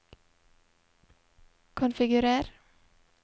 konfigurer